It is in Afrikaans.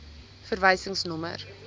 verwysingsnommer